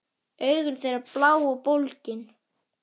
Augu þeirra blá og bólgin.